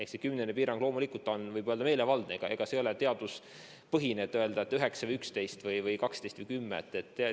See kümnene piirang on loomulikult meelevaldne, see ei ole teaduspõhine, et õige piir on 9 või 11 või 12 või 10.